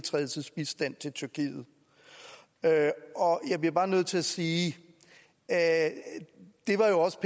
tyrkiet og jeg bliver bare nødt til at sige at det også